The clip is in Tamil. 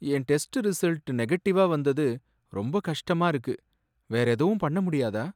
என் டெஸ்ட் ரிசல்ட் நெகட்டிவா வந்தது ரொம்ப கஷ்டமா இருக்கு. வேற எதுவும் பண்ண முடியாதா?